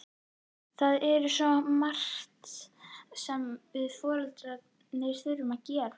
Það er svo margt sem við foreldrarnir þurfum að gera.